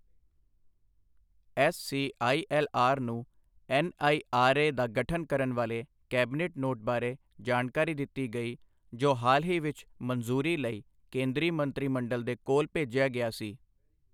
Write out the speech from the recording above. SCILR ਨੂੰ NIRA ਦਾ ਗਠਨ ਕਰਨ ਵਾਲੇ ਕੈਬਨਿਟ ਨੋਟ ਬਾਰੇ ਜਾਣਕਾਰੀ ਦਿੱਤੀ ਗਈ ਜੋ ਹਾਲ ਹੀ ਵਿੱਚ ਮੰਜ਼ੂਰੀ ਲਈ ਕੇਂਦਰੀ ਮੰਤਰੀ ਮੰਡਲ ਦੇ ਕੋਲ ਭੇਜਿਆ ਗਿਆ ਸੀ।